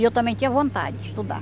E eu também tinha vontade de estudar.